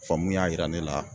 Faamu y'a yira ne la